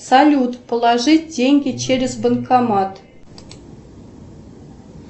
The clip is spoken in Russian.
салют положить деньги через банкомат